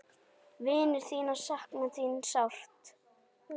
Vinir þínir sakna þín sárt.